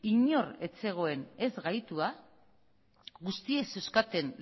inor ez zegoen ez gaitua guztiek zeuzkaten